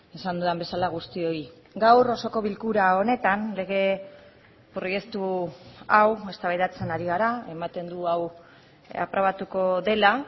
esan dudan bezala guztioi gaur osoko bilkura honetan lege proiektu hau eztabaidatzen ari gara ematen du hau aprobatuko dela